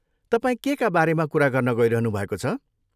तपाईँ केका बारेमा कुरा गर्न गइरहनु भएको छ?